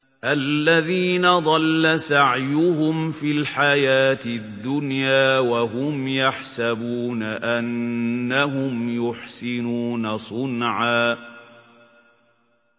الَّذِينَ ضَلَّ سَعْيُهُمْ فِي الْحَيَاةِ الدُّنْيَا وَهُمْ يَحْسَبُونَ أَنَّهُمْ يُحْسِنُونَ صُنْعًا